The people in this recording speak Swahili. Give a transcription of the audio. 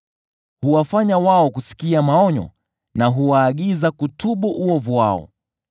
Huwafanya wao kusikia maonyo, na huwaagiza kutubu uovu wao.